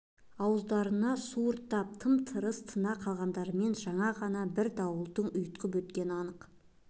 ауыздарына су ұрттап тым-тырыс тына қалғандарымен жаңа ғана бір дауылдың ұйтқып өткені анық